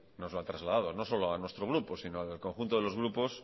nos lo ha trasladado no solo a nuestro grupo sino al conjunto de los grupos